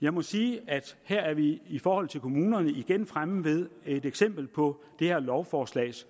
jeg må sige at her er vi i forhold til kommunerne igen fremme ved et eksempel på det her lovforslags